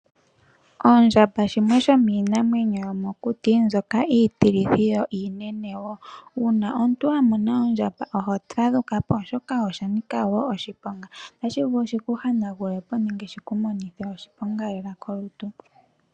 Ondjamba shimwe shomiinamwenyo yomokuti mbyoka iitilithi yo iinene wo. Uuna omuntu a mona oondjamba oho fadhuka po, oshoka osha nika wo oshiponga. Otashi vulu shi ku hanagule po nenge shi ku monithe oshiponga lela kolutu.